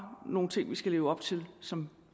nogle ting vi skal leve op til som